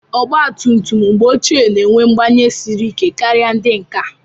Ọgba tum tum mgbe ochie na-enwe mgbanye siri ike kara ndị nke a.